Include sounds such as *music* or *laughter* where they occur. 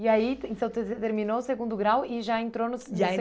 E aí então *unintelligible* terminou o segundo grau e já entrou no... *unintelligible* E aí